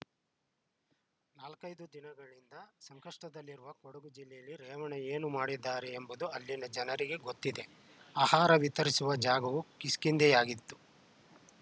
ನಾಲ್ಕೈದು ದಿನಗಳಿಂದ ಸಂಕಷ್ಟದಲ್ಲಿರುವ ಕೊಡಗು ಜಿಲ್ಲೆಯಲ್ಲಿ ರೇವಣ್ಣ ಏನು ಮಾಡಿದ್ದಾರೆ ಎಂಬುದು ಅಲ್ಲಿನ ಜನರಿಗೆ ಗೊತ್ತಿದೆ ಆಹಾರ ವಿತರಿಸುವ ಜಾಗವು ಕಿಷ್ಕಿಂದೆಯಾಗಿತ್ತು